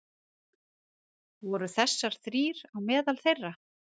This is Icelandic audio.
Voru þessar þrír á meðal þeirra